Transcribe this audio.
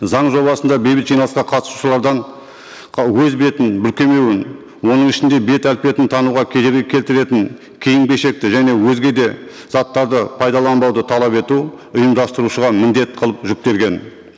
заң жобасында бейбіт жиналысқа қатысушылардан өз бетін бүркемеуін оның ішінде беп әлпетін тануға кедергі келтіретін киім кешекті және өзге де заттарды пайдаланбауды талап ету ұйымдастырушыға міндет қылып жүктелген